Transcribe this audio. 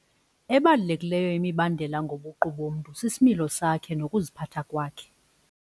Ebalulekileyo imibandela ngobuqu bomntu sisimilo sakhe nokuziphatha kwakhe.